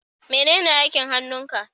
menene aikin hannun ka?